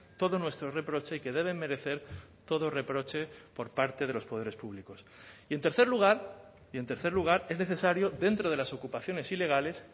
todo nuestro reproche y que deben merecer todo reproche por parte de los poderes públicos y en tercer lugar y en tercer lugar es necesario dentro de las ocupaciones ilegales